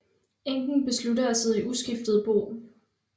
Enken beslutter at sidde i uskiftet bo